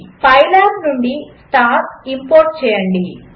pylab నుండి star import చేయండి